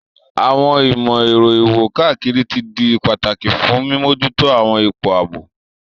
Àwọn ìmò-èro iwo-kakiri ti di pataki fun mimojuto àwọn ipo aabo.